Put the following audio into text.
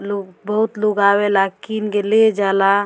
लोग बहुत लोग आवे ला किन के ले जावे ला --